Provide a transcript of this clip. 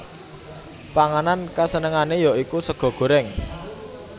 Panganan kasenengane ya iku sega goreng